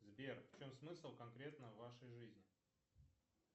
сбер в чем смысл конкретно вашей жизни